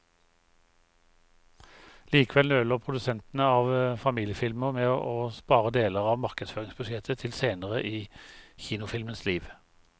Likevel nøler produsenter av familiefilmer med å spare deler av markedsføringsbudsjettet til senere i kinofilmens liv.